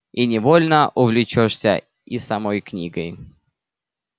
и невольно увлечёшься и самой книгой